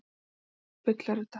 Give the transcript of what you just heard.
Óttalegt bull er þetta!